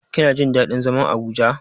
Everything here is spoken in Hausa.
Kina jin daɗin zaman Abuja.